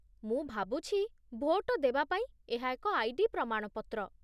ମୁଁ ଭାବୁଛି ଭୋଟ ଦେବାପାଇଁ ଏହା ଏକ ଆଇ.ଡି. ପ୍ରମାଣପତ୍ର